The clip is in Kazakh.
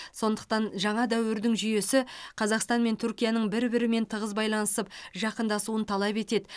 сондықтан жаңа дәуірдің жүйесі қазақстан мен түркияның бір бірімен тығыз байланысып жақындасуын талап етеді